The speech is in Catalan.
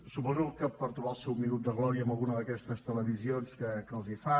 suposo que per trobar el seu minut de glòria en alguna d’aquestes televisions que els hi fan